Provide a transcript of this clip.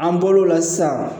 An bol'o la sisan